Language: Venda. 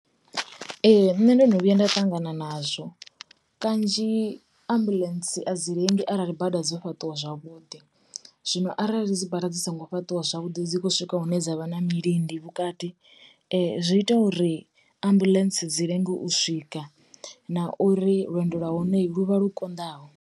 Ee, nṋe ndono vhuya nda ṱangana nazwo, kanzhi ambuḽentse a dzi lengi arali bada dzo fhaṱiwa zwavhuḓi. Zwino arali dzi bada dzi songo fhaṱiwa zwavhuḓi dzi khou swika hune dza vha na milindi vhukati, zwi ita uri ambuḽentse dzi lenge u swika na uri lwendo lwa hone lu vhe lu kondaho.